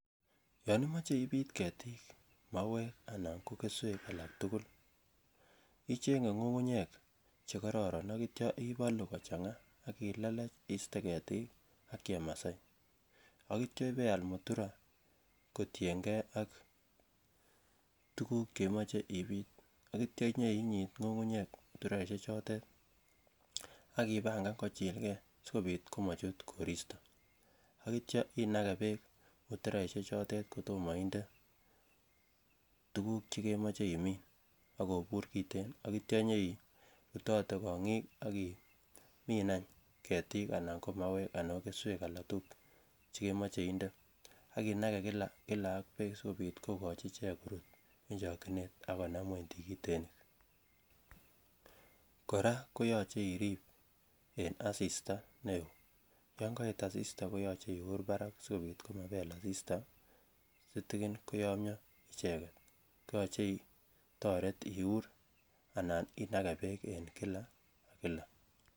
Yon imoche Ibiit ketik mauek anan ko keswek alak tugul ichenge ngungunyek Che kororon yeityo ibolu kochanga ak iletee iste ketik ak chemasai ak ityo ibeal mutura kotienge ak tuguk Che imoche ibit ak yeitya inyoinyit ngungunyek mutura ichotet ak ibangan kochilgei si kobit komachut koristo ak ityo inage bek muturaisiechoto kotomo inde tuguk Che kemoche imin ak kobur kiten ak yeityo inyoi butote kongik ak imin any ketik anan ko mauek anan ko keswek alak tugul Che kemoche inde ak inage kila ak bek asikobit kogochi ichek korut en chokyinet ak konam ngwony tikitik kora koyoche irib en asista yon koet asista koyoche iur barak asikobit komabel asista sitikin koyomyo icheget